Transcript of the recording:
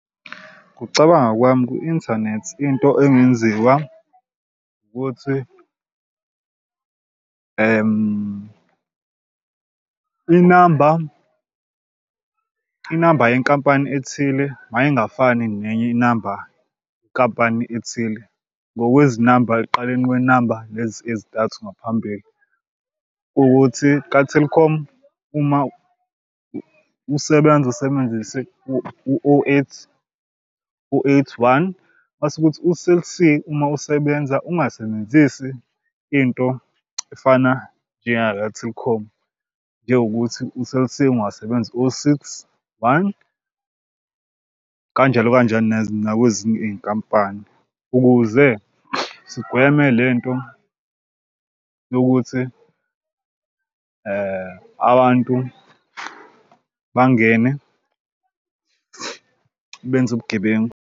Ngokucabanga kwami kwi-inthanethi into engenziwa ukuthi inamba inamba yenkampani ethile mayingafani nenye inamba nkampani ethile. Ngokwezinamba ekuqaleni kwenamba lezi ezintathu ngaphambili ukuthi ka-Telkom uma usebenza usebenzise u-oh eight oh eight one mase ukuthi u-Cell C uma usebenza ungasebenzisi into efana njengaka-Telkom. Njengokuthi u-Cell C ungasebenzi oh six one kanjalo kanjani nakwezinye iy'nkampani ukuze sigweme le nto yokuthi abantu bangene benze ubugebengu.